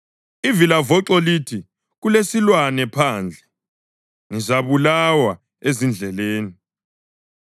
Ivilavoxo lithi, “Kulesilwane phandle! Ngizabulawa ezindleleni!”